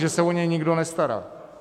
Že se o ně nikdo nestará.